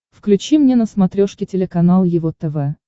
включи мне на смотрешке телеканал его тв